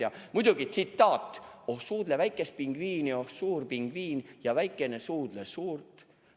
Ja muidugi tsitaat: "Suudle väikest pingviini, oh suur pingviin, / ja väikene – suudle suurt.